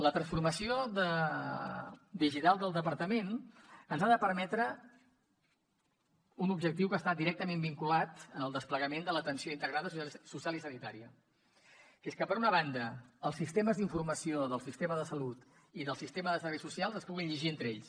la transformació digital del departament ens ha de permetre un objectiu que està directament vinculat al desplegament de l’atenció integrada social i sanitària que és que per una banda els sistemes d’informació del sistema de salut i del sistema de serveis socials es puguin llegir entre ells